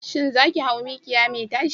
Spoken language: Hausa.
Shin za ku hau mikiya mai tashi?